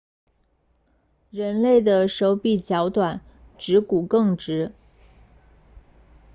人类的手比脚短指趾骨更直